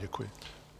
Děkuji.